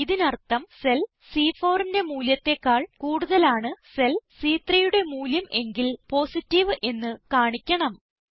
ഇതിനർത്ഥം സെൽ C4ന്റെ മൂല്യത്തെക്കാൾ കൂടുതലാണ് സെൽ സി3 യുടെ മൂല്യം എങ്കിൽ പോസിറ്റീവ് എന്ന് കാണിക്കണം